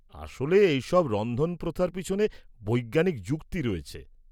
-আসলে এই সব রন্ধন প্রথার পিছনে বৈজ্ঞানিক যুক্তি রয়েছে।